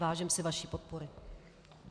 Vážím si vaší podpory.